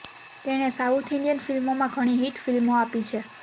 તેણે south Indian ફિલ્મોમાં ઘણી હિટ ફિલ્મો આપી છે